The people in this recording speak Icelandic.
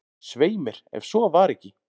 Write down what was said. """Svei mér, ef svo var ekki."""